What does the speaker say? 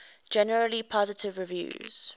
generally positive reviews